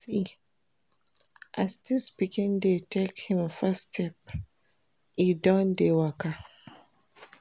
See as dis pikin dey take im first step, e don dey waka!